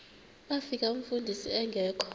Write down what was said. bafika umfundisi engekho